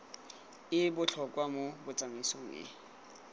e botlhokwa mo tsamaisong e